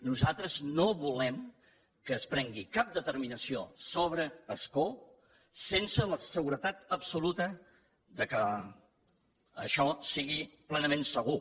nosaltres no volem que es prengui cap determinació sobre ascó sense la seguretat absoluta que això sigui plenament segur